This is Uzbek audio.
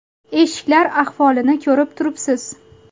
Eshiklar ahvolini ko‘rib turibsiz.